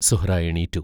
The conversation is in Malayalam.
സുഹ്റാ എണീറ്റു.